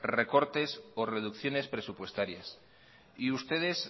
recortes o reducciones presupuestarias y ustedes